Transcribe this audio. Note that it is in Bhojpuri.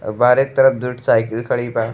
अ बाहरे के तरफ दूठ साइकिल खड़ी बा।